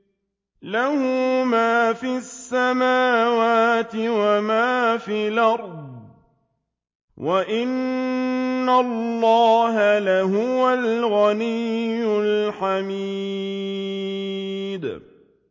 لَّهُ مَا فِي السَّمَاوَاتِ وَمَا فِي الْأَرْضِ ۗ وَإِنَّ اللَّهَ لَهُوَ الْغَنِيُّ الْحَمِيدُ